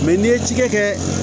n'i ye ci kɛ